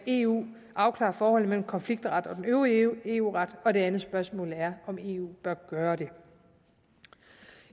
eu kan afklare forholdet mellem konfliktret og den øvrige eu ret og det andet spørgsmål er om eu bør gøre det